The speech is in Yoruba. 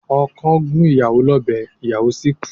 Okọ̀ gún ìyàwó lọ́bẹ̀ ìyàwó sì kú.